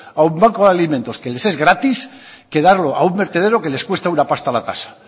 a un banco de alimentos que les es gratis que darlo a un vertedero que les cuesta una pasta la tasa